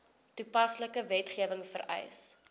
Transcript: toepaslike wetgewing vereis